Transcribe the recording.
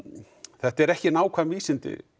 þetta eru ekki nákvæm vísindi